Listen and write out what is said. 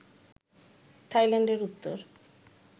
থাইল্যান্ডের উত্তর